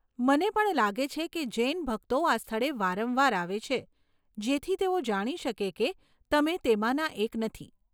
મને પણ લાગે છે કે જૈન ભક્તો આ સ્થળે વારંવાર આવે છે જેથી તેઓ જાણી શકે કે તમે તેમાંના એક નથી.